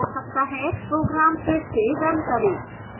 program को फिर से रन करें